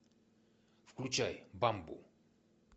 включай бамбу